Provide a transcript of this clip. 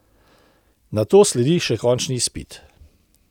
Nato sledi še končni izpit.